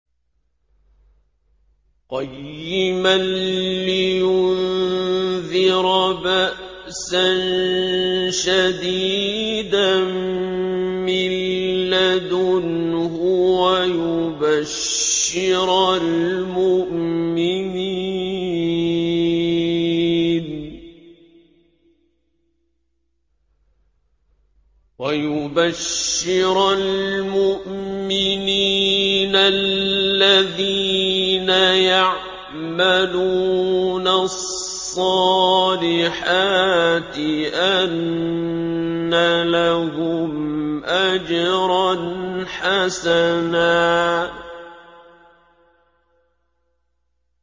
قَيِّمًا لِّيُنذِرَ بَأْسًا شَدِيدًا مِّن لَّدُنْهُ وَيُبَشِّرَ الْمُؤْمِنِينَ الَّذِينَ يَعْمَلُونَ الصَّالِحَاتِ أَنَّ لَهُمْ أَجْرًا حَسَنًا